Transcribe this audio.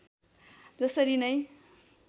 जसरी नै